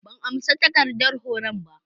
ban amsa takardar horon ba.